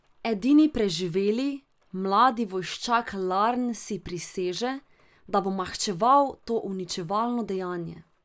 Edini preživeli, mladi vojščak Larn si priseže, da bo maščeval to uničevalno dejanje.